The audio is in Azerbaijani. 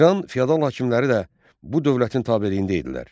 İran feodal hakimləri də bu dövlətin tabeliyində idilər.